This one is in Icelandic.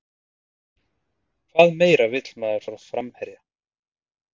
Hvað meira vill maður frá framherja?